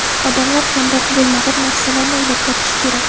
Odamlar kamroq bo‘lmag‘ur narsalarni o‘ylab topishi kerak.